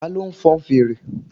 Ta ló fon fèrè?